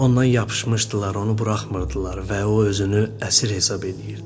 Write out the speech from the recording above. Ondan yapışmışdılar, onu buraxmırdılar və o özünü əsir hesab eləyirdi.